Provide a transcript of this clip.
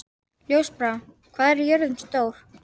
Ljósbrá, hvað er jörðin stór?